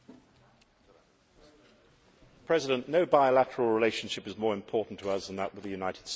Mr President, no bilateral relationship is more important to us than that with the United States.